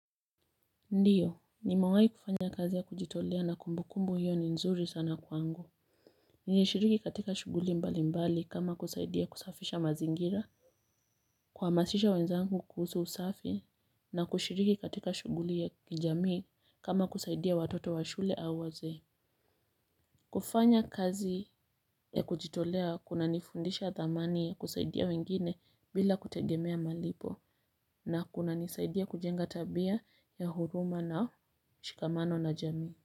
Ndiyo, nimewahi kufanya kazi ya kujitolea na kumbukumbu hiyo ni nzuri sana kwangu. Nilishiriki katika shughuli mbalimbali kama kusaidia kusafisha mazingira. Kuhamasisha wenzangu kuhusu usafi na kushiriki katika shughuli za jamii kama kusaidia watoto wa shule au wazee. Kufanya kazi ya kujitolea kunanifundisha thamani ya kusaidia wengine bila kutegemea malipo. Na kunanisaidia kujenga tabia ya huruma na mshikamano na jamii.